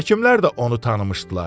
Həkimlər də onu tanımışdılar.